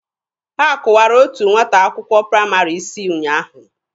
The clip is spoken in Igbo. Ha kụwara otu nwata akwụkwọ praịmarị isi ụnyaahụ.